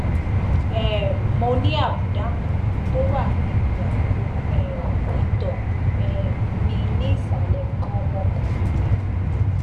um mo ní àbùdá kan tó wà níbi àpò um ìtọ um mi ní ìsàlẹ nǹkan ọmọkùnrin mi